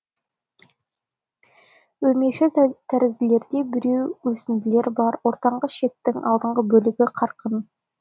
өрмекшітәрізділерде бітеу өсінділері бар ортаңғы ішектің алдыңғы бөлігі қарын